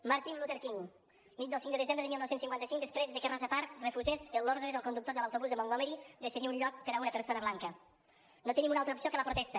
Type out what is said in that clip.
martin luther king nit del cinc de desembre de dinou cinquanta cinc després de que rosa parks refusés l’ordre del conductor de l’autobús de montgomery de cedir un lloc per a una persona blanca no tenim una altra opció que la protesta